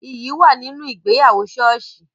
Iyì wà nínú ìgbéyàwó soosi